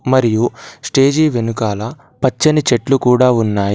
మరియు స్టేజీ వెనుకాల పచ్చని చెట్లు కూడా ఉన్నాయి.